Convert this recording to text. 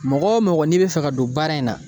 Mɔgɔ o mɔgɔ n'i bɛ fɛ ka don baara in na